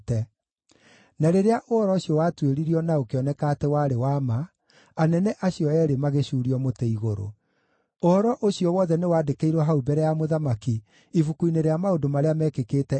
Na rĩrĩa ũhoro ũcio watuĩririo na ũkĩoneka atĩ warĩ wa ma, anene acio eerĩ magĩcuurio mũtĩ igũrũ. Ũhoro ũcio wothe nĩwandĩkĩirwo hau mbere ya mũthamaki ibuku-inĩ rĩa maũndũ marĩa meekĩkĩte ihinda rĩu.